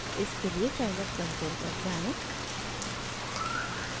इसके लिए scilab console पर जाएँ